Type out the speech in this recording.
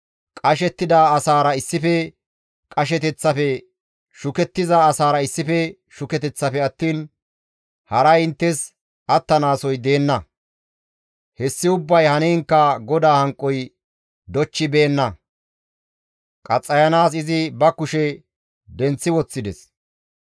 Qashettida asaara issife qasheteththafe shukettiza asaara issife shuketeththafe attiin haray inttes attanaasoy deenna. Hessi ubbay haniinkka GODAA hanqoy dochchibeenna; qaxxayanaas izi ba kushe denththi woththides.